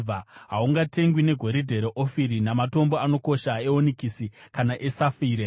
Hahungatengwi negoridhe reOfiri, namatombo anokosha eonikisi kana esafire.